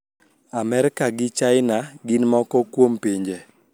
Amerka gi China gin moko kuom pinje